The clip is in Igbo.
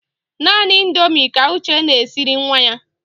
Naanị Indomi ka Uche na-esiri nwa ya.